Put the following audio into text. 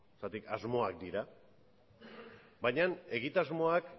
zeren asmoak dira baina egitasmoak